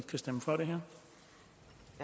kan stemme for det her